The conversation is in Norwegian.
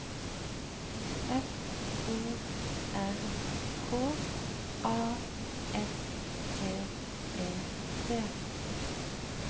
F O R K A S T E T